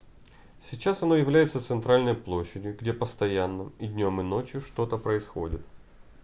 сейчас оно является центральной площадью где постоянно и днём и ночью что-то происходит